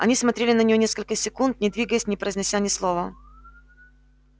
они смотрели на неё несколько секунд не двигаясь не произнося ни слова